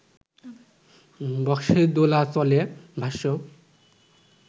বস্কের দোলাচলে ভাষ্য